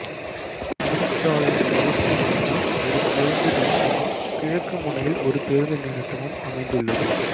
முனிச்சாலையின் மேற்கு முனையில் ஒரு பேருந்து நிறுத்தமும் கிழக்கு முனையில் ஒரு பேருந்து நிறுத்தமும் அமைந்துள்ளது